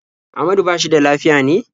Ahmadu ba shi da lafiya ne?